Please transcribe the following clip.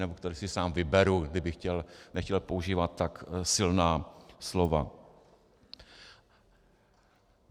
Nebo které si sám vyberu - kdybych nechtěl používat tak silná slova.